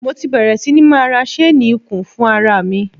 Mo ti bẹ̀rè sí ní máa ra ṣéénì ikùn fún ara mi.